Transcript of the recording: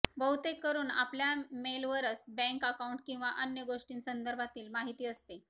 बहुतेककरून आपल्या मेलवरच bank account किंवा अन्य गोष्टींसंदर्भातील माहिती असते